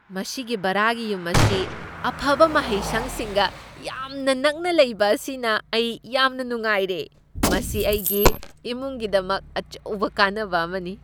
ꯃꯁꯤꯒꯤ ꯚꯔꯥꯒꯤ ꯌꯨꯝ ꯑꯁꯤ ꯑꯐꯕ ꯃꯍꯩꯁꯪꯁꯤꯡꯒ ꯌꯥꯝꯅ ꯅꯛꯅ ꯂꯩꯕ ꯑꯁꯤꯅ ꯑꯩ ꯌꯥꯝꯅ ꯅꯨꯡꯉꯥꯏꯔꯦ꯫ ꯃꯁꯤ ꯑꯩꯒꯤ ꯏꯃꯨꯡꯒꯤꯗꯃꯛ ꯑꯆꯧꯕ ꯀꯥꯟꯅꯕ ꯑꯃꯅꯤ꯫